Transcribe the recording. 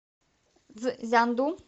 цзянду